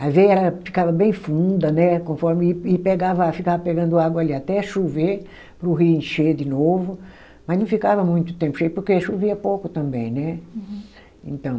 ficava bem funda né, conforme e pegava, ficava pegando água ali até chover para o rio encher de novo, mas não ficava muito tempo cheio porque chovia pouco também, né. Uhum. Então